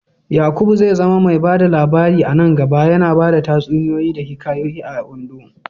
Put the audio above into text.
Yakubu zai zama mai ba da labari a nan gaba, yana bada tatsuniyoyi da hikayoyi a Ondo.